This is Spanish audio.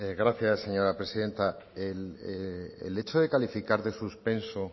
gracias señora presidenta el hecho de calificar de suspenso